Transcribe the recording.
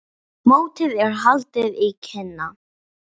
Mótið er haldið í Kína.